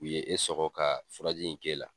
U ye e sɔgɔ ka furaji in k'e la.